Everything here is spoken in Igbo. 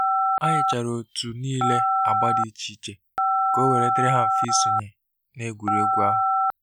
A nye chara otu niile agba dị iche iche ka owere diri ha mfe isonye na egwuregwu ahụ.